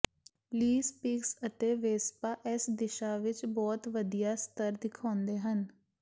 ਲੀ ਸਪੀਕਜ਼ ਅਤੇ ਵੇਸਪਾ ਇਸ ਦਿਸ਼ਾ ਵਿੱਚ ਬਹੁਤ ਵਧੀਆ ਸਤਰ ਦਿਖਾਉਂਦੇ ਹਨ